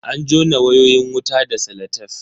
An jona wayoyin wutan da salatef.